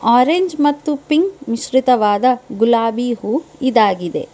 Orange ಮತ್ತು pink ಮಿಶ್ರಿತವಾದ ಗುಲಾಬಿ ಹೂ ಇದಾಗಿದೆ.